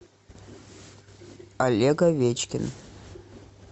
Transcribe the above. олег овечкин